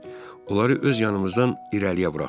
Onları öz yanımızdan irəliyə buraxdıq.